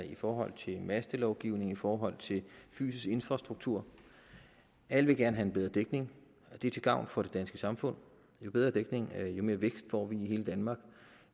i forhold til mastelovgivning i forhold til fysisk infrastruktur alle vil gerne have en bedre dækning og det er til gavn for det danske samfund jo bedre dækning jo mere vækst får vi i hele danmark